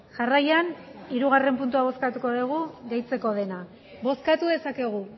jarraian hirugarrena puntua bozkatuko dugu gehitzeko dena bozkatu dezakegu